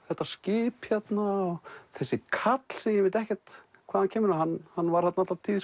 þetta skip hérna og þessi karl sem ég veit ekkert hvaðan kemur hann hann var þarna alla tíð